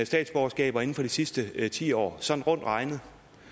statsborgerskaber inden for de sidste ti år sådan rundt regnet